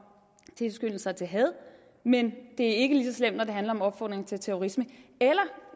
tilskyndelser til had men det er ikke lige så slemt når det handler om opfordring til terrorisme